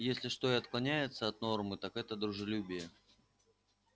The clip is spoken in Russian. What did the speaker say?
если что и отклоняется от нормы так это дружелюбие